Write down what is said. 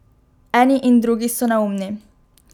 Eni in drugi so neumni.